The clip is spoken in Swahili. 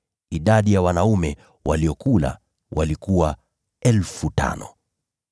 Idadi ya wanaume waliokula walikuwa 5,000.